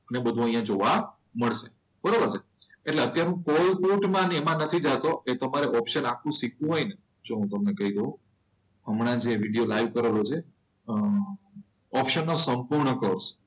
ને બધું અહીંયા જોવા મળશે. બરોબર છે. એટલે અત્યારે હું કોલ ફૂટના ને એમાં નથી જતો એ તમારે ઓપ્શન આખું શીખવું હોય ને જો હું તમને કહી દઉં. હમણાં જે વિડીયો લાઈવ કરેલો છે. અમ ઓપ્શન નો સંપૂર્ણ કોર્ષ